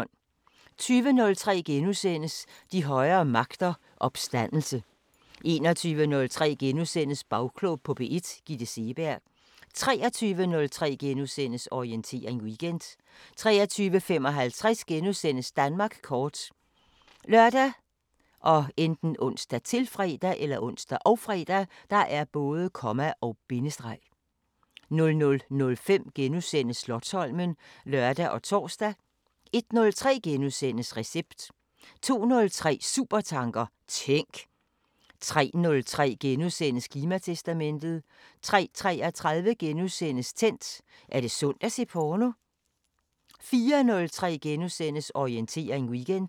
20:03: De højere magter: Opstandelse * 21:03: Bagklog på P1: Gitte Seeberg * 23:03: Orientering Weekend * 23:55: Danmark kort *( lør, ons, -fre) 00:05: Slotsholmen *(lør og tor) 01:03: Recept * 02:03: Supertanker: Tænk! 03:03: Klimatestamentet * 03:33: Tændt: Er det sundt at se porno? * 04:03: Orientering Weekend *